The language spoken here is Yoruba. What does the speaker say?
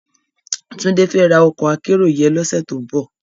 Tunde fè rá òkò ákèérò yèn lòsè tó n bò